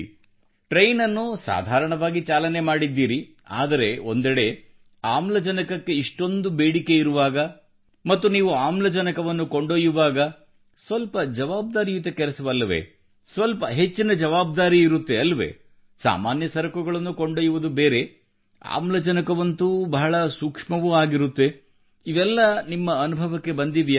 train ಅನ್ನು ಸಾಧಾರಣವಾಗಿ ಚಾಲನೆ ಮಾಡಿದ್ದೀರಿ ಆದರೆ ಒಂದೆಡೆ ಆಮ್ಲಜನಕಕ್ಕೆ ಇಷ್ಟೊಂದು ಬೇಡಿಕೆ ಇರುವಾಗ ಮತ್ತು ನೀವು ಆಮ್ಲಜನಕವನ್ನು ಕೊಂಡೊಯ್ಯುವಾಗ ಸ್ವಲ್ಪ ಜವಾಬ್ದಾರಿಯುತ ಕೆಲಸವಲ್ಲವೇ ಸ್ವಲ್ಪ ಹೆಚ್ಚಿನ ಜವಾಬ್ದಾರಿ ಇರುತ್ತದೆ ಅಲ್ಲವೇ ಸಾಮಾನ್ಯ ಸರಕುಗಳನ್ನು ಕೊಂಡೊಯ್ಯುವುದು ಬೇರೆ ಆಮ್ಲಜನಕವಂತೂ ಬಹಳ ಸೂಕ್ಷ್ಮವೂ ಆಗಿರುತ್ತದೆ ಇವೆಲ್ಲ ನಿಮ್ಮ ಅನುಭವಕ್ಕೆ ಬಂದಿವೆಯೇ